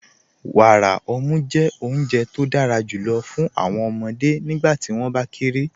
Wàárà ọ̀mù jẹ́ ọ̀Unje tó dára júlọ̀ fún awọn ọmọde nígbàtí wọn bá kéré.